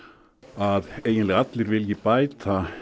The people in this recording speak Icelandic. að eiginlega allir vilji bæta